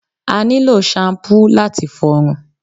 A nílò ṣampú láti fọrun